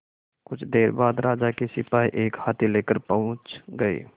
कुछ देर बाद राजा के सिपाही एक हाथी लेकर पहुंच गए